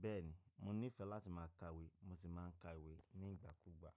Bẹ́ẹ̀ni, mo nífẹ̀ẹ́ láti ma ka ìwé mo sì ma n ka ìwé ní ìgbàkúgbà.